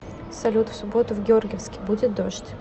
салют в субботу в георгиевске будет дождь